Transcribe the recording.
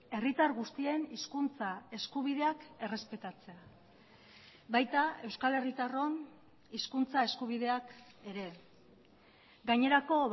herritar guztien hizkuntza eskubideak errespetatzea baita euskal herritarron hizkuntza eskubideak ere gainerako